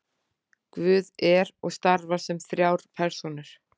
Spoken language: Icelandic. guð er og starfar sem þrjár persónur